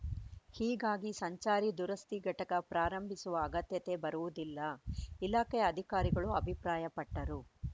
ಹೀಗಾಗಿ ಸಂಚಾರಿ ದುರಸ್ತಿ ಘಟಕ ಪ್ರಾರಂಭಿಸುವ ಅಗತ್ಯತೆ ಬರುವುದಿಲ್ಲ ಇಲಾಖೆ ಅಧಿಕಾರಿಗಳು ಅಭಿಪ್ರಾಯಪಟ್ಟರು